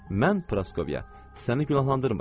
Mən Proskovya, səni günahlandırmıram.